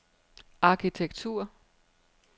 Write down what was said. arkitektur